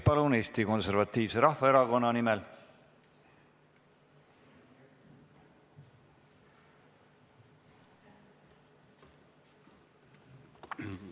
Peeter Ernits Eesti Konservatiivse Rahvaerakonna fraktsiooni nimel, palun!